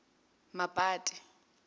mapate